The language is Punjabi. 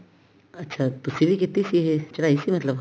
ਅੱਛਾ ਤੁਸੀਂ ਵੀ ਕੀਤੀ ਸੀ ਇਹ ਚੜਾਈ ਸੀ ਮਤਲਬ